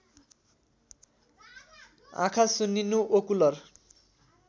आँखा सुन्निनु ओकुलर